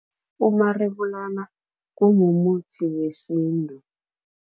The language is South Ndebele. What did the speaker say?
Umarebulana kumumuthi wesintu.